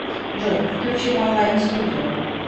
джой включи ван лайт студио